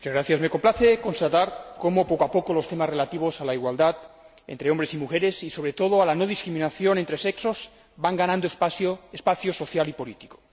Señor Presidente, me complace constatar como poco a poco los temas relativos a la igualdad entre hombres y mujeres y, sobre todo, a la no discriminación entre sexos van ganando espacio social y político.